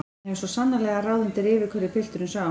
Hann hefur svo sannarlega ráð undir rifi hverju pilturinn sá!